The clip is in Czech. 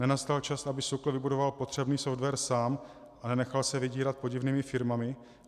Nenastal čas, aby SÚKL vybudoval potřebný software sám a nenechal se vydírat podivnými firmami?